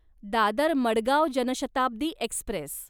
Dadar Madgaon Janshatabdi Express